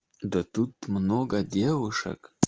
да тут много девушек